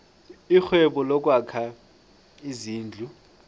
irhwebo lokwakha izindlu